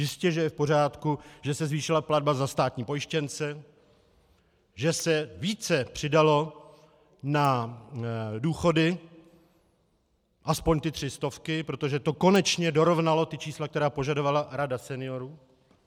Jistěže je v pořádku, že se zvýšila platba za státní pojištěnce, že se více přidalo na důchody, aspoň ty tři stovky, protože to konečně dorovnalo ta čísla, která požadovala Rada seniorů.